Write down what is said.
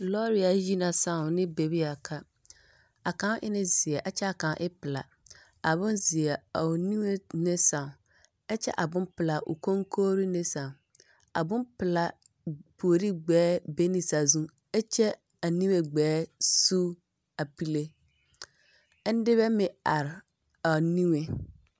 Lɔɔre ayi ne sãõ ne bebe a ka. A kaŋ e ne zeɛ ɛ kyɛ a kaŋ e bompelaa. A bonzeɛ a o niŋe ne sãã, ɛ kyɛ a bompelaa o koŋkogri ne sãã. A bompelaa puori gbɛɛ be ne sazuŋ ɛ kyɛ o niŋe gbɛɛ sug a pule, ɛ nebɛ meŋ are a o neŋeŋ.